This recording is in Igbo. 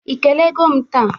Ị kelego m taa?